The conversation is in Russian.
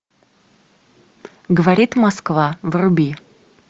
говорит москва вруби